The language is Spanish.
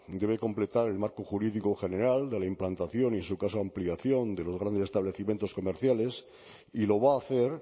debe completar el marco jurídico general de la implantación y en su caso ampliación de los grandes establecimientos comerciales y lo va a hacer